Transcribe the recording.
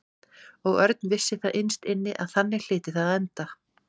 Og Örn vissi það innst inni að þannig hlyti það að enda.